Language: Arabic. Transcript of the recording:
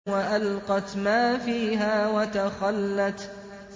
وَأَلْقَتْ مَا فِيهَا وَتَخَلَّتْ